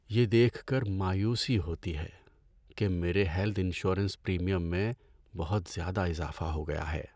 یہ دیکھ کر مایوسی ہوتی ہے کہ میرے ہیلتھ انشورنس پریمیم میں بہت زیادہ اضافہ ہو گیا ہے۔